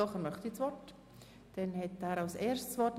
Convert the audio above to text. Doch, er wünscht das Wort und erhält es als Erster.